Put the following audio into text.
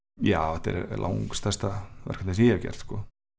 já þetta er langstærsta verkefni sem ég hef gert sko